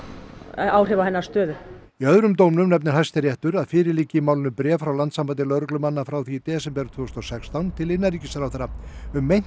áhrif á hennar stöðu í öðrum dómnum nefnir Hæstiréttur að fyrir liggi í málinu bréf frá Landssambandi lögreglumanna frá því í desember tvö þúsund og sextán til innanríkisráðherra um meint